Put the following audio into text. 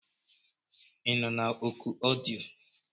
Ị nọ na oku ọdịyo?